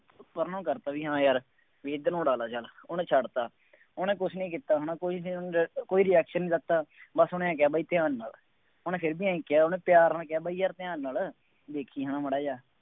ਪਰਾਂ ਨੂੰ ਕਰਤਾ ਬਈ ਹਾਂ ਯਾਰ, ਬਈ ਇੱਧਰ ਨੂੰ ਉਡਾ ਲਾ ਚੱਲ, ਉਹਨੇ ਛੱਡਤਾ ਉਹਨੇ ਕੁੱਛ ਨਹੀਂ ਕੀਤਾ ਹੈ ਨਾ ਕੋਈ ਨਹੀਂ ਉਹਨੂੰ ਕੋਈ reaction ਨਹੀਂ ਕੀਤਾ, ਬਸ ਉੇਹਨੇ ਆਂਏਂ ਕਿਹਾ ਬਾਈ ਧਿਆਂਨ ਨਾਲ, ਉਹਨੇ ਫੇਰ ਵੀ ਆਂਏਂ ਕਿਹਾ, ਉਹਨੇ ਪਿਆਰ ਨਾਲ ਕਿਹਾ ਬਾਈ ਯਾਰ ਧਿਆਨ ਨਾਲ, ਦੇਖੀ ਨਾ ਮਾੜ੍ਹਾ ਜਿਹਾ,